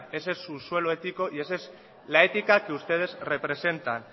ese es su suelo ético y esa es la ética que ustedes representan